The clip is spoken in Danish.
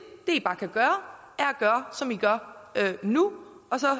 det i bare kan gøre som i gør nu og så